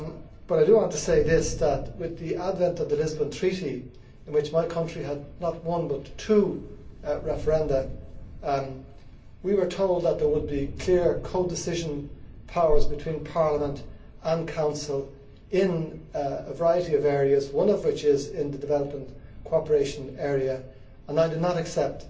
But I do want to say this with the advent of the Lisbon Treaty, on which my country had not one but two referenda, we were told that there would be clear codecision powers between Parliament and Council in a variety of areas, one of which is in the development cooperation area, and I do not accept